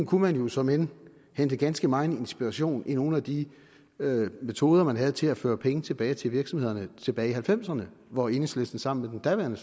kunne der såmænd hentes ganske megen inspiration i nogle af de metoder man havde til at føre penge tilbage til virksomhederne tilbage i nitten halvfemserne hvor enhedslisten sammen med den daværende